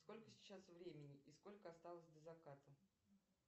сколько сейчас времени и сколько осталось до заката